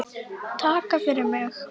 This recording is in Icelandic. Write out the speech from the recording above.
Takk fyrir mig.